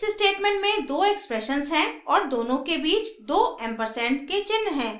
इस statement में दो expressions हैं और दोनों के बीच दो एम्परसेंड के चिन्ह हैं